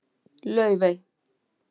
Laufey